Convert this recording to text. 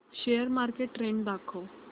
share market trend दाखव